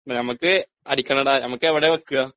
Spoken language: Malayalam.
നമുക്ക് അടിക്കണടാ നമുക്ക് എവിടാ വെക്കാ?